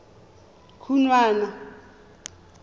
khunwana